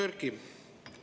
Hea Erkki!